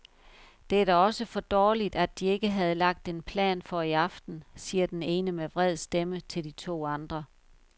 Det er da også for dårligt, de ikke havde lagt en plan for i aften, siger den ene med vred stemme til de to andre.